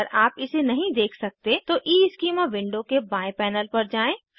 अगर आप इसे नहीं देख सकते तो ईस्कीमा विंडो के बाएं पैनल पर जाएँ